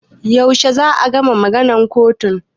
Yaushe za a gama maganan kotun?